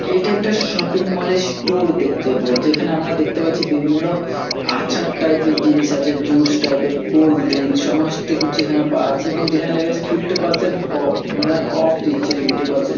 এটা একটা shopping mall এর স্টো-র-- দেখতে পারো যেখানে আমরা দেখতে পাচ্ছি . বিভিন্ন আরচার টাইপ এর জিনিস আছে জুস টাইপ এর কোল্ডরিং সমস্ত কিছু এখানে পাওয়া আছে এবং যেখানে লেখা আছে ফিফটি পার্সেন্ট অফ মানে অফ দিচ্ছে ফিফটি পার্সেন্ট --